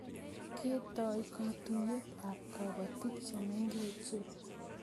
Ketoi katuiyet ab kapotik chemengech